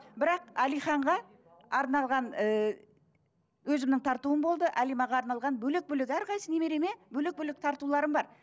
бірақ әлиханға арналған ыыы өзімнің тартуым болды әлимаға арналған бөлек бөлек әрқайсысы немереме бөлек бөлек тартуларым бар